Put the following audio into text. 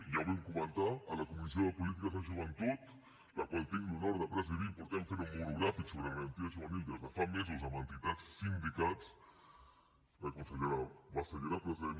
ja ho vam comentar a la comissió de polítiques de joventut la qual tinc l’honor de presidir fem un monogràfic sobre garantia juvenil des de fa mesos amb entitats i sindicats la consellera bassa hi era present